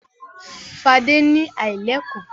Fadé ni aláìlẹ́kọ̀ọ́.